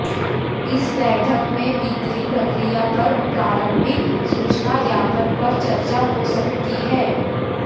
इस बैठक में बिक्री प्रक्रिया पर प्रारंभिक सूचना ज्ञापन पर चर्चा हो सकती है